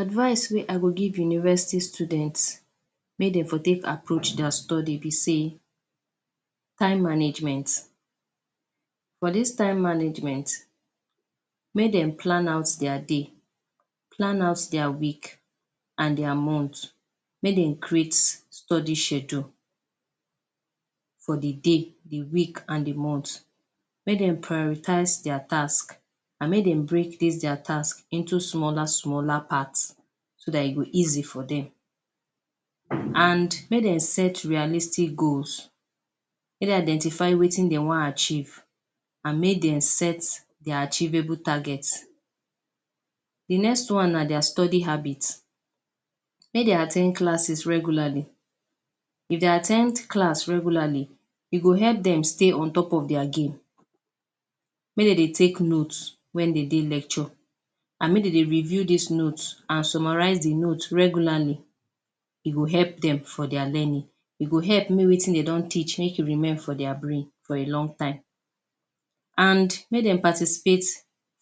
Advise wey i go give university students make dey for take approach dia study be sey time management. For dis time management make dem plan out dia day, plan out dia week and dia month, make dem create study schedule for dey day dey week and dey month. Make dem prioritize dia task and make dem break dis dia task into smaller smaller parts so dat e go easy for dem and make dem set realistic goals make dem identify wetin dey wan achieve and make dem set dia achievable target. Dey next one na dia study habit, make dem at ten d classes regularly if dey at ten d class regularly e go help dem stay ontop of dia game, make dem dey take note when de dey lecture and make dem dey review dis note and summarise dey note regularly e go help dem for dia learning e go help make wetin dem don teach make e remain for dia brain for a long time and make dem participate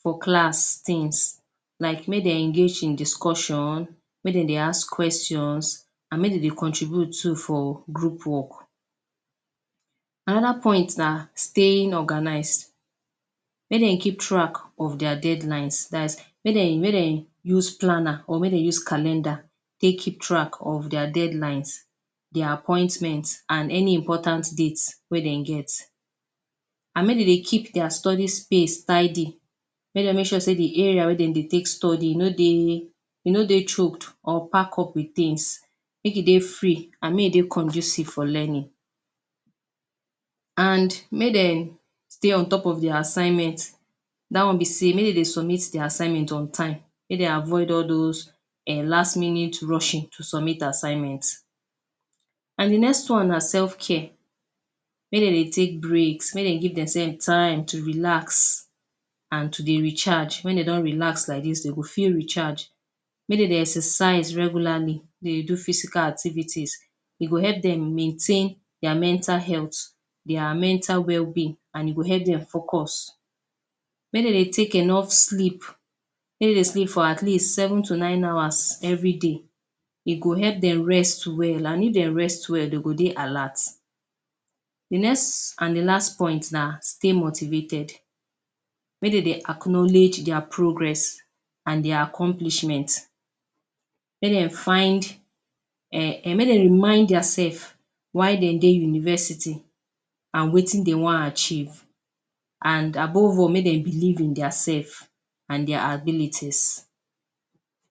for class things like make dem engage in discussion make dem dey ask questions and make dem dey contribute too for group work. Another point na staying organized make dem keep track of dia deadlines dats make dem make dem use planner or make dem use calendar take keep track of dia deadlines, dia appointments and any important dates wey dem get and make de dey keep dia study space tidy make dem make sure dey area where de dey take study e no dey e no dey choked or pack up with things make e dey free and make e dey conducive for learning and make dem stay ontop of dia assignment dat wan be sey make de dey sumit dia assignment on time make dey avoid all those um last minute rushing to sumit assignment. And dey next one na selfcare make dem dey take breaks make dem dey give diaself time to relax and to dey recharge. When dey don relax like dis dey go fit recharge, make dem dey exercise regularly dey do physical activities e go help dem maintain dia mental health, dia mental wellbeing and e go help dem focus. Make dem dey take enough sleep make dem dey sleep for at least seven to nine hours every day e go help dem rest well and if dem rest well dey go dey alert. Dey next and dey last point na stay motivated, make dem dey acknowledge dia progress and dia accomplishment make dem find[um] make dem remind diaself why dem dey university and wetin dey wan achieve and above all make dem believe in diaself and dia abilities.